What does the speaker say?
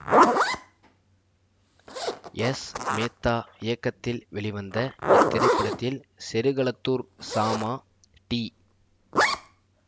S Mehta இயக்கத்தில் வெளிவந்த இத்திரைப்படத்தில் செருகளத்தூர் சாமா டி